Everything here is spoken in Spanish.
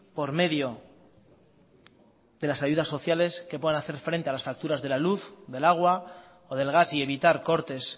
por medio de las ayudas sociales que puedan hacer frente a las facturas de la luz del agua o del gas y evitar cortes